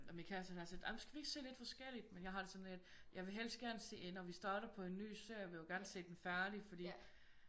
Og min kæreste han er sådan lidt ej men skal vi ikke se lidt forskelligt? Men jeg har det sådan lidt jeg vil helst gerne se ender vi starter på en nye serie vi vil jo gerne se den færdig fordi